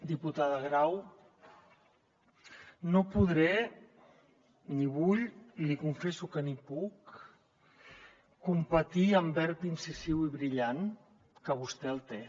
diputada grau no podré ni vull li confesso que ni puc competir amb verb incisiu i brillant que vostè el té